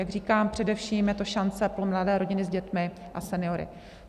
Jak říkám, především je to šance pro mladé rodiny s dětmi a seniory.